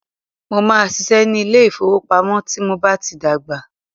Mó máà ṣiṣẹ́ ní ilé ìfọwọ́pamo tí mo bá tí dàgbà.